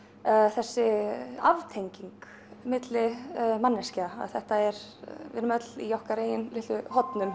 þessi aftenging milli manneskja þetta er við erum öll í okkar eigin litlu hornum